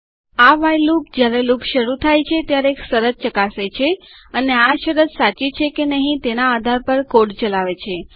આ while loop જયારે loop શરુ થાય છે ત્યારે એક શરત ચકાસે છે અને આ શરત સાચી છે કે નથી તેના આધાર પર કોડ ચલાવે છે